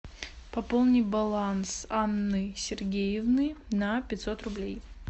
пополни баланс анны сергеевны на пятьсот рублей